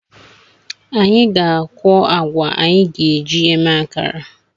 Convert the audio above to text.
Anyị ga-akwu agwa anyị ga-eji eme akara